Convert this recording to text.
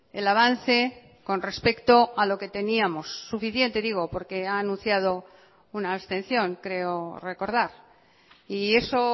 el avance con respecto a lo que teníamos suficiente digo porque ha anunciado una abstención creo recordar y eso